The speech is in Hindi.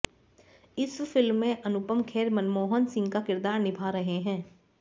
इस फिल्म में अनुपम खेर मनमोहन सिंह का किरदार निभा रहे हैं